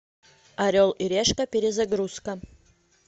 орел и решка перезагрузка